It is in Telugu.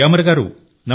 గ్యామర్ గారూ